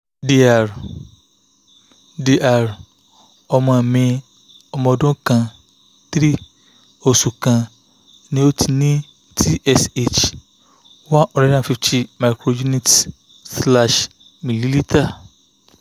dr dr ọmọ mi ọmọ ọdún kan three oṣù kan ni o ni tsh one hundred fifty micro units/milliliter